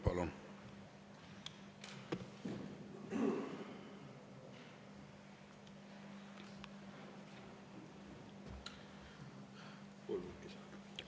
Palun!